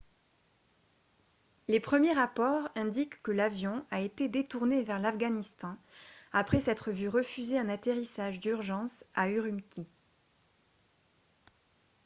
les premiers rapports indiquent que l'avion a été détourné vers l'afghanistan après s'être vu refuser un atterrissage d'urgence à ürümqi